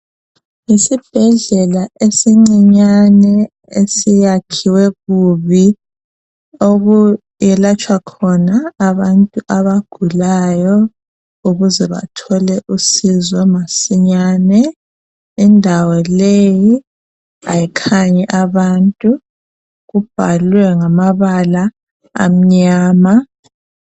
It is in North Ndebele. Yisibhedlela esincinyane esiyakhiwe kubi okwelatshwa khona abantu abagulayo ukuze bathole uncedo masinyane indawo leyi ayikhanyi abantu kubhalwe ngamabala amnyama.